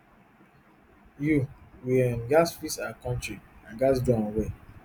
you we um gatz fix our kontri and we gatz do am well